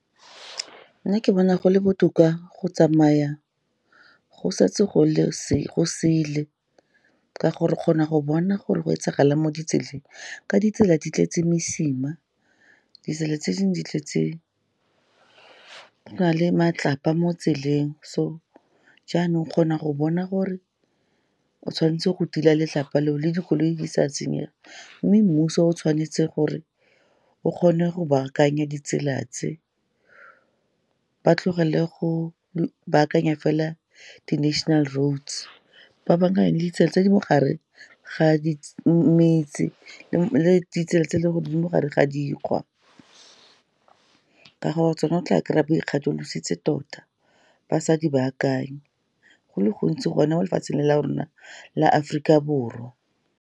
Nna ke bona go le botoka go tsamaya go setse gosele, ka gore o kgona go bona gore go etsagalang mo ditseleng. Ka ditsela di tletse mesima, ditsela tse dingwe go na le matlapa mo tseleng. So jaanong o kgona go bona gore o tshwanetse go tila letlapa le o, le dikoloi di sa senyega. Mme mmuso o tshwanetse gore o kgone go baakanya ditsela tse. Ba tlogele go baakanya fela di-national roads, ba baakanye ditsela tse di mogare ga metse le ditsela tse e leng gore di mogare ga dikgwa, ka gore tsona o tla kry-a go ikgatholositse tota, ba sa di baakanye. Go le gontsi gone mo lefatsheng le la rona la Aforika Borwa.